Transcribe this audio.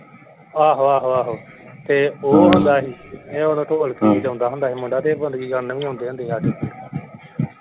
ਆਹੋ ਆਹੋ ਆਹੋ ਤੇ ਉਹ ਹੁੰਦਾ ਸੀ ਇਹ ਓਦੋਂ ਢੋਕਲੀ ਵਜਾਉਂਦਾ ਹੁੰਦਾ ਸੀ ਮੁੰਡਾ ਤੇ ਇਹ ਵੀ ਆਉਂਦੇ ਹੁੰਦੇ ਸੀ ਸਾਡੇ।